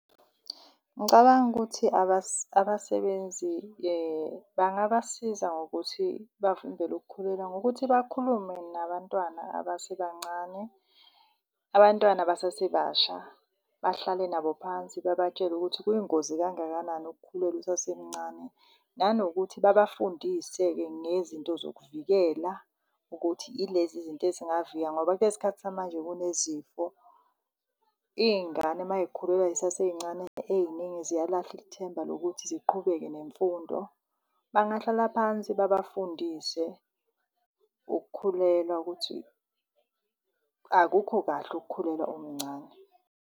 Ngicabanga ukuthi abasebenzi bangabasiza ngokuthi bavimbele ukukhulelwa ngokuthi bakhulume nabantwana abasebancane. Abantwana abasasebasha bahlale nabo phansi babatshele ukuthi kuyingozi kangakanani ukukhulelwa usasemncane. Nanokuthi babafundise-ke ngezinto zokuvikela ukuthi ilezi zinto ezingavika ngoba kule sikhathi samanje kunezifo. Iy'ngane uma y'khulelwa zisasey'ncane ey'ningi ziyalahla ithemba lokuthi ziqhubeke nemfundo. Bangahlala phansi, babafundise ukukhulelwa ukuthi akukho kahle ukukhulelwa umncane.